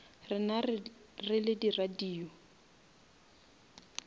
rena re le radio